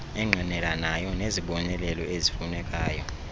engqinelanayo nezibonelelo ezifunekayo